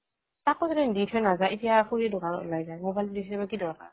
তাকো বুলে দি থৈ নাযায় এতিয়া খুৰী দোকানত ওলাই যায় মোবাইলটো দি থৈ যাব কি দৰকাৰ